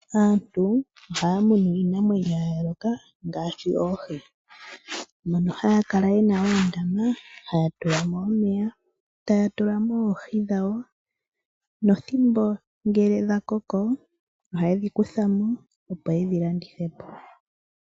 Aantu ohaya munu iinamwenyo ya yooloka ngaashi oohi, mono haya kala yena oondama haya tulamo omeya taya tulamo oohi dhawo, nopethimbo ngele dhakoko ohaye dhi kuthamo opo yedhi landithepo.